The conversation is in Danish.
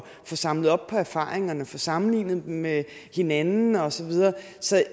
få samlet op på erfaringerne og få sammenlignet dem med hinanden og så videre